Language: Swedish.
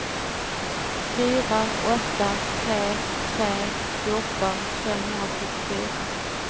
fyra åtta tre tre fjorton femhundrasjuttiofyra